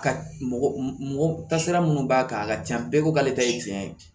Ka mɔgɔ mɔgɔ tasira minnu b'a kan a ka ca bɛɛ ko k'ale ta ye tiɲɛ ye